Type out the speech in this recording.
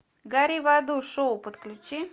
гори в аду шоу подключи